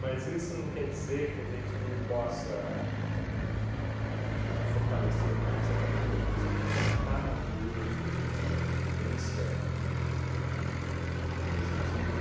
Mas isso não quer dizer que a gente não possa ahn fortalecer mais ainda a questão de sentar nas ruas, de a gente ter uma vivência ahn positiva.